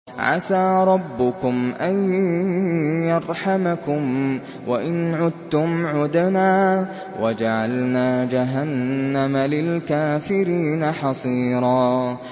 عَسَىٰ رَبُّكُمْ أَن يَرْحَمَكُمْ ۚ وَإِنْ عُدتُّمْ عُدْنَا ۘ وَجَعَلْنَا جَهَنَّمَ لِلْكَافِرِينَ حَصِيرًا